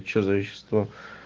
что за вещество